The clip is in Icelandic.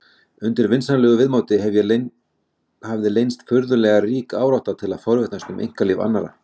Undir vinsamlegu viðmóti hefði leynst furðulega rík árátta til að forvitnast um einkalíf annarra.